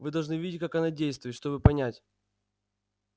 вы должны видеть как она действует чтобы понять